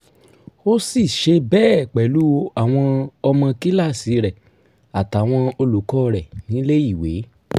ó sì ṣe bẹ́ẹ̀ pẹ̀lú àwọn ọmọ kíláàsì rẹ̀ àtàwọn olùkọ́ rẹ̀ nílé ìwé